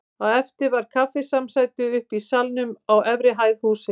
Á eftir var kaffisamsæti uppi í salnum á efri hæð hússins.